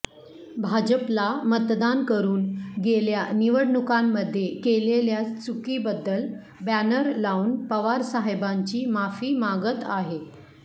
भाजपला मतदान करून गेल्या निवडणुकांमध्ये केलेल्या चूकीबद्दल बॅनर लावून पवार साहेबांची माफी मागत आहे